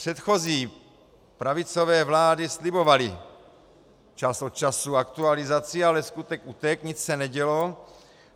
Předchozí pravicové vlády slibovaly čas od času aktualizaci, ale skutek utek, nic se nedělo.